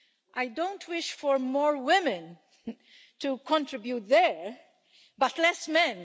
I don't wish for more women to contribute there but less men.